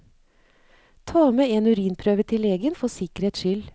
Ta med en urinprøve til legen for sikkerhets skyld.